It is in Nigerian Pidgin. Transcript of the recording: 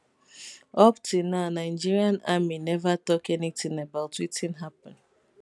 up till now nigerian army neva tok anytin about wetin happun